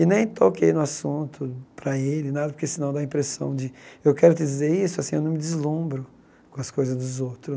E nem toquei no assunto para ele, nada, porque senão dá a impressão de, eu quero dizer isso assim, eu não me deslumbro com as coisas dos outros.